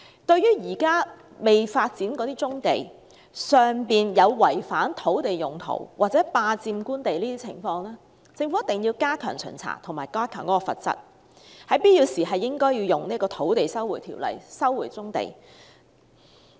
對於現時未發展的棕地有違反土地用途或霸佔官地的情況，政府必須加強巡查及提高罰則，必要時應該引用《收回土地條例》收回棕地。